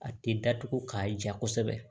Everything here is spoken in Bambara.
A tɛ datugu k'a ja kosɛbɛ